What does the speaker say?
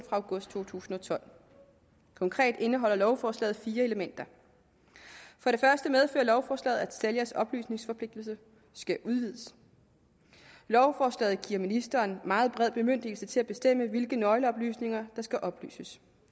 august to tusind og tolv konkret indeholder lovforslaget fire elementer for det første medfører lovforslaget at sælgers oplysningsforpligtelse skal udvides lovforslaget giver ministeren meget bred bemyndigelse til at bestemme hvilke nøgleoplysninger der skal oplyses